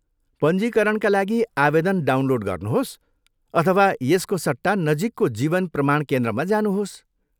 पञ्जीकरणका लागि आवेदन डाउनलोड गर्नुहोस् अथवा यसको सट्टा नजिकको जीवन प्रमाण केन्द्रमा जानुहोस्।